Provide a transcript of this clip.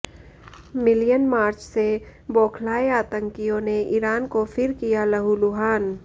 million march से बौखलाए आतंकियों ने ईरान को फिर किया लहुलुहान